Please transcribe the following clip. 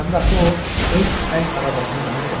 Həm də axı o öz əl arabasını mənə verəcək.